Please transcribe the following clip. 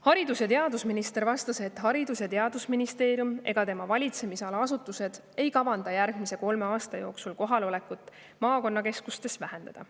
Haridus- ja teadusminister vastas, et Haridus- ja Teadusministeerium ega tema valitsemisala asutused ei kavanda järgmise kolme aasta jooksul kohalolekut maakonnakeskustes vähendada.